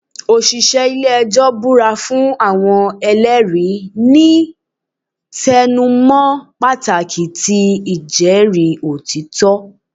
Oṣiṣẹ ile-ẹjọ bura fun awọn ẹlẹri, ni tẹnumọ pataki ti ijẹri otitọ.